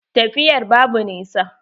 Tafiyar babu nisa.